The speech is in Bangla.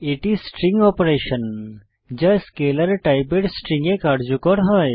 এটি স্ট্রিং অপারেশন যা স্কেলার টাইপের স্ট্রিং এ কার্যকর হয়